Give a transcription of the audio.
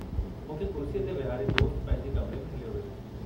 मूंखे कुर्सीअ ते विहारे दोस्त पंहिंजे कमिरे में हलियो वियो।